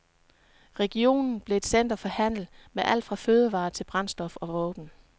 Regionen blev et center for handel med alt fra fødevarer til brændstof og våben.